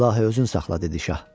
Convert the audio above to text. İlahi, özün saxla, dedi şah.